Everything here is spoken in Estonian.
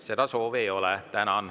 Seda soovi ei ole.